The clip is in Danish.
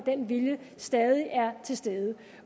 den vilje stadig er til stede